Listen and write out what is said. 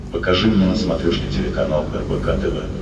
покажи мне на смотрешке телеканал рбк тв